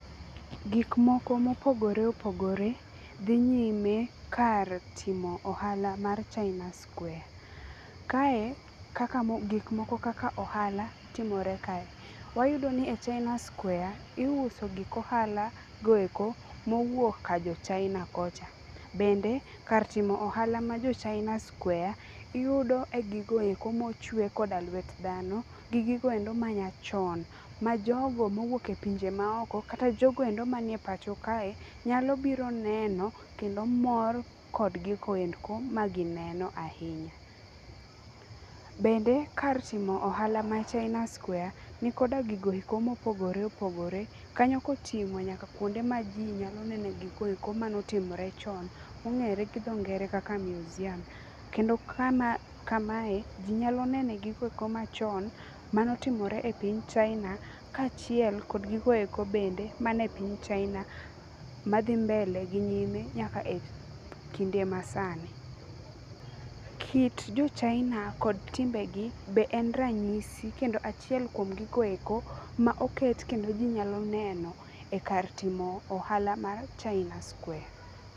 Gikmoko mopogore opogore dhi nyime kar timo ohala mar China Square. Kae gikmoko kaka ohala timore kae. Wayudo ni e China Square iuso gik ohala go eko mowuok ka jo China kocha. Bende kar timo ohala ma jo China Square, iyudo giko eko mochuwe koda lwet dhano gi giko endo manyachon, ma jogo mowuok e pinje ma oko kata jogo endo manie pacho kae, nyalo biro neno kendo mor kod gigo endo magineno ahinya. Bende kar timo ohala mar China Square nikoda gigo eko mopogore opogore kanyo koting'o nyaka kwonde ma ji nyalo neno gigo eko mano timore chon mong'ere gi tho ngere kaka Museum. Kendo kamae ji nyalo nene gigo eko machon, mane otimore e piny China kaachiel kod gigo eko manie piny China madhi mbele gi nyime nyaka e kinde masani. Kit jo China kod timbegi be en ranyisi kendo achiel kuom gigo eko ma oket kendo ji nyalo neno e kar timo ohala mar China Square.